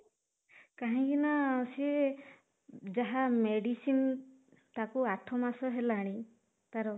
କାହିଁକି ନା ସିଏ ଯାହା ମେଡିସିନ ତାକୁ ଆଠ ମାସ ହେଲାଣି ତାର